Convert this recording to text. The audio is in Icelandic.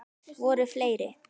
Voru fleiri?